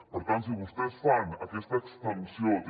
per tant si vostès fan aquesta extensió de que